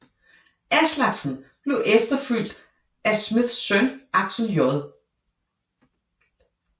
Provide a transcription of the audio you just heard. Aslaksen blev efterfulgt af Smiths søn Aksel J